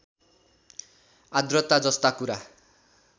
आद्रता जस्ता कुरा